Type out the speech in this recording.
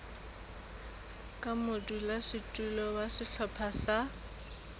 ka modulasetulo wa sehlopha sa